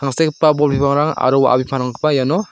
sekgipa bol bipangrang aro wa·a bipangrangkoba iano--